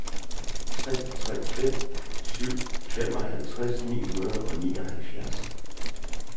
tre tre fem syv femoghalvtreds ni hundrede og nioghalvfjerds